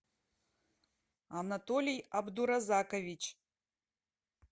анатолий абдуразакович